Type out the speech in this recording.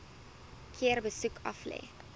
keer besoek aflê